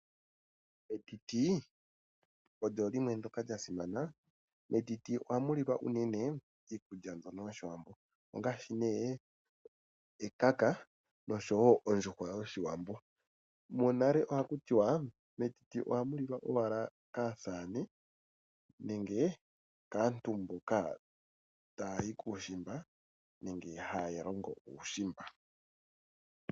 Etiti olya simana. Metiti ohamu lilwa unene iikulya mbyono yOshiwambo ngaashi ekaka noshowo ondjuhwa yOshiwambo. Monale ohaku ti wa metiti ohamu lilwa owala kaasamane nenge kaantu mboka taya yi kuushimba nenge haa longo uushimba.